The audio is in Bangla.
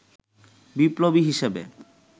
বিপ্লবী হিসেবে